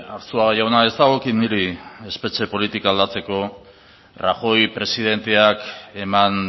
arzuaga jauna ez dagokit niri espetxe politika aldatzeko rajoy presidenteak eman